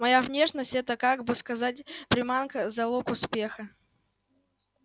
моя внешность это как бы сказать приманка залог успеха